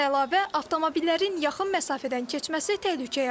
Bundan əlavə, avtomobillərin yaxın məsafədən keçməsi təhlükə yaradır.